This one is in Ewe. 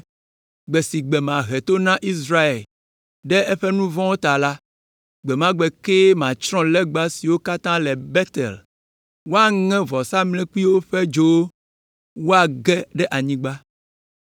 Gbe si gbe mahe to na Israel ɖe eƒe nu vɔ̃wo ta la, gbe ma gbe kee matsrɔ̃ legba siwo katã le Betel. Woaŋe vɔ̃samlekpui la ƒe dzowo woage ɖe anyigba.